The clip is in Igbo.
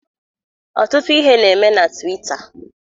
Ọtụtụ ihe na-eme na Twita.